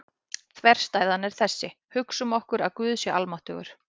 Þverstæðan er þessi: Hugsum okkur að Guð sé almáttugur.